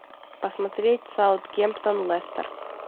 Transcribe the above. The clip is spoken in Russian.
посмотреть саутгемптон лестер